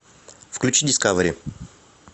включи дискавери